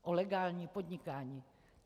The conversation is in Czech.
O legální podnikání.